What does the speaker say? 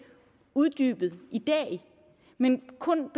uddybet i dag men kun